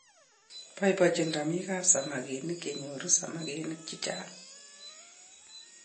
Boibochini romikap samakinik yenyoru samakinik chichang.